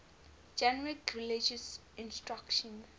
generic religious instruction